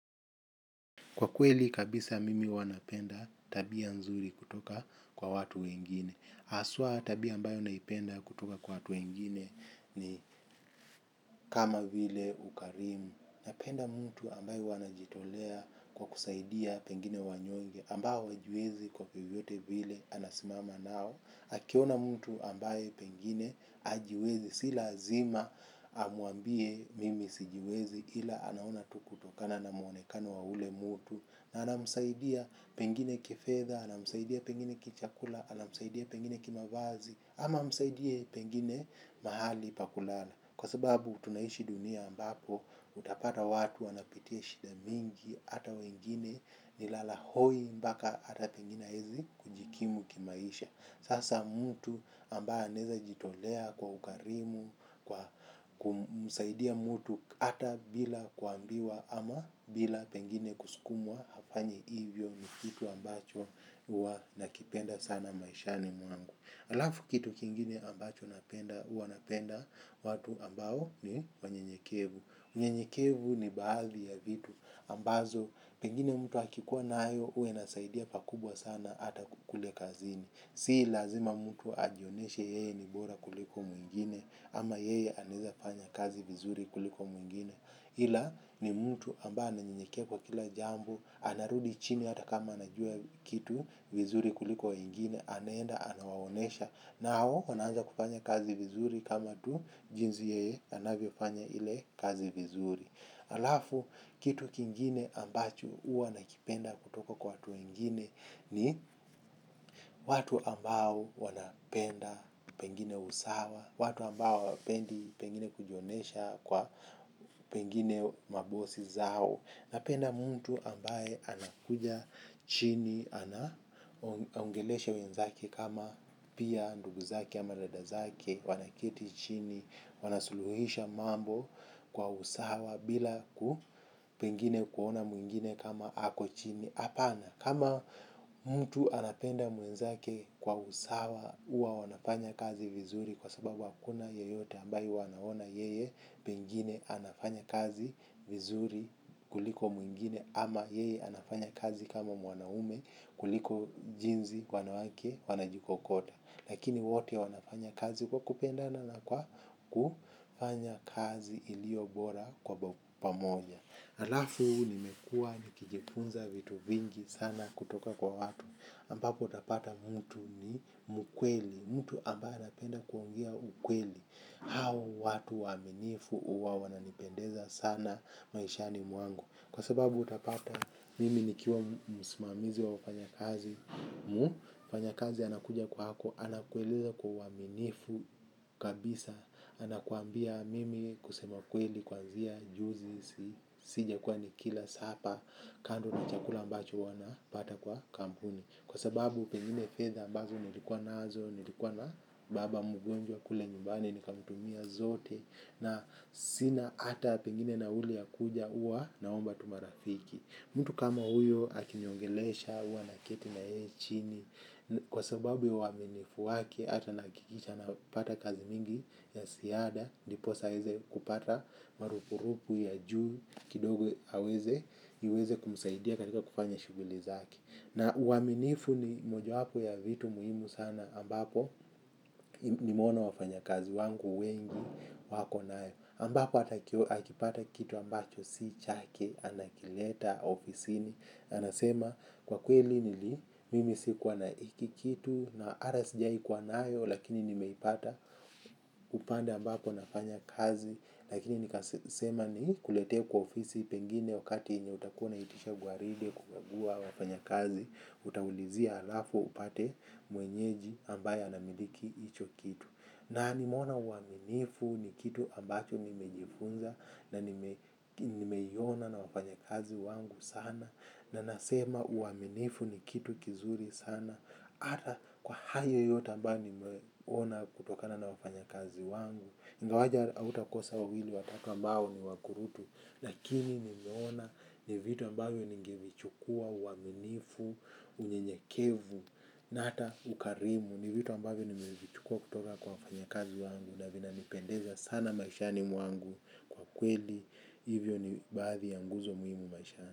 Kwa kweli kabisa, mimi huwa napenda tabia nzuri kutoka kwa watu wengine. Haswa, tabia ninayoipenda kutoka kwa watu wengine ni kama vile ukarimu. Napenda mtu ambaye huwa anajitolea kwa kusaidia pengine wanyonge ambao hawajiwezi kwa vyovyote vile, anasimama nao. Akiona mtu ambaye pengine hajiwezi, si lazima amwambie mimi sijiwezi, ila anaona tu kutokana na muonekano wa yule mtu. Na anamsaidia pengine kifedha, anamsaidia pengine kichakula, anamsaidia pengine kimavazi, ama anamsaidia pengine mahali pa kulala, kwa sababu tunaishi dunia ambapo utapata watu wanapitia shida nyingi, hata wengine ni lala hoi mpaka ata pengine hawezi kujikimu kimaisha. Sasa mtu ambaye anaweza kujitolea kwa ukarimu, kumsaidia mtu hata bila kuambiwa ama bila pengine kusukumwa, hafanyi hivyo. Ni kitu ambacho huwa nakipenda sana maishani mwangu. Alafu kitu kingine ambacho huwa napenda watu ambao ni wanyenyekevu. Unyenyekevu, ni baadhi ya vitu ambazo pengine mtu akikuwa nayo huwa inasaidia pakubwa sana hata kule kazini. Si lazima mtu ajionyeshe yeye ni bora kuliko mwingine, ama yeye anaweza fanya kazi vizuri kuliko mwingine. Hila ni mtu ambaye ananyenyekea kwa kila jambo, anarudi chini hata kama anajua kitu vizuri kuliko mwingine, anaenda anawaonyesha. Nao wanaanza kufanya kazi vizuri kama tu jinsi yeye anavyofanya ile kazi vizuri, halafu kitu kingine ambacho huwa nakipenda kutoka kwa watu wengine ni watu ambao wanapenda pengine usawa, watu ambao hawapendi pengine kujionyesha kwa pengine mabosi zao. Napenda mtu ambaye anakuja chini. Anaongelesha wenzake kama pia ndugu zake ama dada zake wanakaa chini, wanasuluhisha mambo kwa usawa bila pengine kumwona mwingine kama ako chini, hapana, kama mtu anapenda mwenzake kwa usawa, huwa wanafanya kazi vizuri kwa sababu hakuna yeyote ambaye huwa anaona yeye pengine anafanya kazi vizuri kuliko mwingine, ama yeye anafanya kazi kama mwanaume kuliko jinsi wanawake wanajikokota. Lakini wote wanafanya kazi kwa kupenda na kwa kufanya kazi iliyo bora kwa pamoja. Halafu nimekuwa nikijifunza vitu vingi sana kutoka kwa watu, ambapo utapata mtu ni mkweli. Mtu ambaye napenda kuongea ukweli. Hawa watu waaminifu huwa wananipendeza sana maishani mwangu, kwa sababu utapata mimi nikiwa msimamizi wa kufanya kazi. Mfanyakazi anakuja kwako, anakueleza kwa uaminifu kabisa. Anakuambia, mimi kusema kweli, kuanzia juzi sijakuwa nikila sapa. Kando na chakula ambacho wanapata kwa kampuni, kwa sababu pengine fedha ambazo nilikuwa nazo, nilikuwa na baba mgonjwa kule nyumbani, nikamtumia zote na sina hata pengine nauli ya kuja, huwa naomba tu marafiki. Mtu kama huyo akiniongelesha, huwa nakaa naye chini. Kwa sababu ya uaminifu wake ata nahakikisha na pata kazi nyingi za ziada, ndiposa aweze kupata marupurupu ya juu kidogo, niweze kumsaidia katika kufanya shughuli zake. Na uaminifu ni mojawapo ya vitu muhimu sana ambapo nimeona wafanyakazi wangu wengi wako nayo, ambapo akipata kitu ambacho si chake, anakileta ofisini. Anasema, kwa kweli, mimi sikuwa na hiki kitu, na hata sijawai kuwa nayo, lakini nimeipata. Upande ambako nafanya kazi. Lakini nikasema nikuletee kwa ofisi, pengine wakati yenye utakuwa unaitisha gwaride kukagua wafanyakazi. Utaulizia halafu upate mwenyeji ambaye anamiliki hicho kitu. Na nimeona uaminifu ni kitu ambacho nimejifunza na nimeiona na wafanyakazi wangu sana, na nasema uaminifu ni kitu kizuri sana, hata kwa hayo yote ambayo nimeona kutokana na wafanyakazi wangu, ingawa hautakosa wawili watatu ambao ni wakurutu. Lakini nimeona ni vitu ambavyo ningevichukua: uaminifu, unyenyekevu na hata ukarimu. Ni vitu ambavyo nimevichukua kutoka kwa wafanyakazi wangu, na vinanipendeza sana maishani mwangu kwa kweli. Hivyo ni baadhi ya nguzo muhimu maishani.